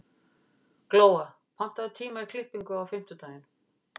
Glóa, pantaðu tíma í klippingu á fimmtudaginn.